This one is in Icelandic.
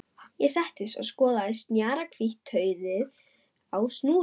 Ég settist og skoðaði snjakahvítt tauið á snúrunni.